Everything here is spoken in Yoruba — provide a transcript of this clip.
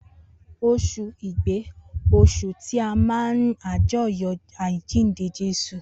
Osun igbe osun ti a má ne ajoyọ ajinde Jesu